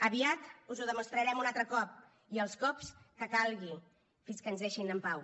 aviat us ho demostrarem un altre cop i els cops que calgui fins que ens deixin en pau